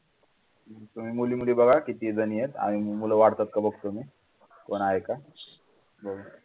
तुम्ही मुली मुली बघा किती जणी आहेत आम्ही मुलं वाढतात का बघतो मी कोण आहे का